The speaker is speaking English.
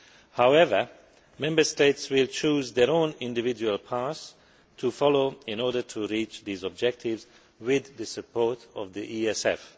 However, Member States will choose their own individual paths to follow in order to reach these objectives with the support of the ESF.